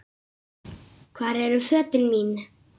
Hvar eru fötin mín?